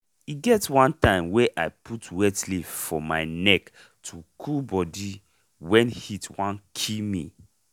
e get one time wey i put wet leaf for my neck to cool body when heat wan kill me.